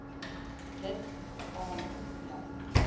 dit aan jou